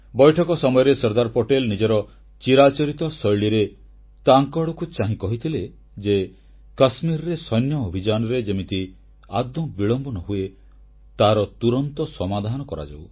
ବୈଠକ ସମୟରେ ସର୍ଦ୍ଦାର ପଟେଲ ନିଜର ଚିରାଚରିତ ଶୈଳୀରେ ତାଙ୍କ ଆଡ଼କୁ ଚାହିଁ କହିଥିଲେ ଯେ କାଶ୍ମୀରରେ ସୈନ୍ୟ ଅଭିଯାନରେ ଯେମିତି ଆଦୌ ବିଳମ୍ବ ନ ହୁଏ ତାହାର ତୁରନ୍ତ ସମାଧାନ କରାଯାଉ